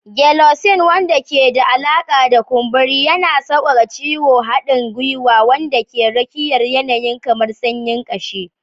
Gelocin, wanda ke da alaƙa da kumburi, yana sauƙaƙa ciwon haɗin gwiwa wanda ke rakiyar yanayi kamar sanyin kashi